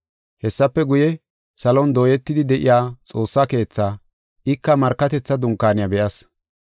Hessafe guye, salon dooyetidi de7iya Xoossa Keethaa, ika Markatetha Dunkaaniya be7as.